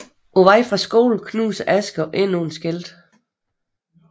På vej fra skole knuser Asger endnu et skilt